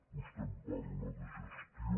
vostè em parla de gestió